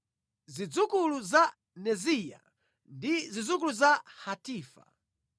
zidzukulu za Neziya ndi zidzukulu za Hatifa.